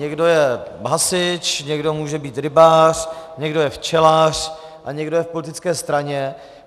Někdo je hasič, někdo může být rybář, někdo je včelař a někdo je v politické straně.